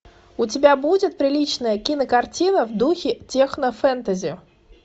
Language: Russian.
у тебя будет приличная кинокартина в духе технофэнтези